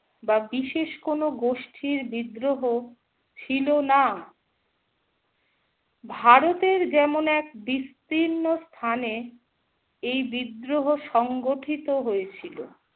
বা বিশেষ কোনো গোষ্ঠীর বিদ্রোহ ছিল না। ভারতের যেমন এক বিস্তীর্ণ স্থানে এই বিদ্রোহ সংগঠিত হয়েছিল।